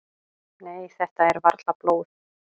"""Nei, þetta er varla blóð."""